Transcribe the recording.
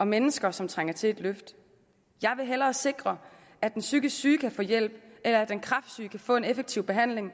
og mennesker som trænger til et løft jeg vil hellere sikre at den psykisk syge kan få hjælp eller at den kræftsyge kan få en effektiv behandling